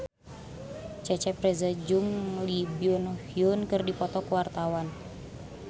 Cecep Reza jeung Lee Byung Hun keur dipoto ku wartawan